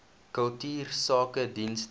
kultuursakedienste